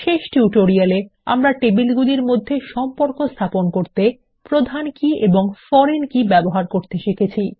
শেষ টিউটোরিয়াল এ আমরা টেবিলগুলির মধ্যে সম্পর্ক স্থাপন করতে প্রধান কী ও ফরেন কি ব্যবহার করতে শিখছি